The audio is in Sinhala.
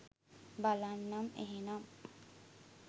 බලන්නම් එහෙනම්.